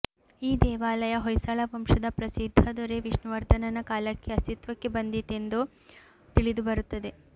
ಈ ದೇವಾಲಯ ಹೊಯ್ಸಳ ವಂಶದ ಪ್ರಸಿದ್ಧ ದೊರೆ ವಿಷ್ಣುವರ್ಧನನ ಕಾಲಕ್ಕೆ ಅಸ್ತಿತ್ವಕ್ಕೆ ಬಂದಿತ್ತೆಂದು ತಿಳಿದುಬರುತ್ತದೆ